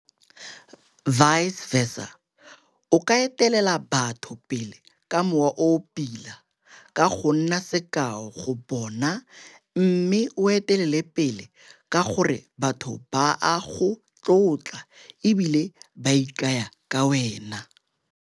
Vice versa, o ka etelela batho pele ka mowa o o pila ka go nna sekao go bona mme o etelela pele ka gore batho ba a go tlotla e bile ba ikanya ka wena.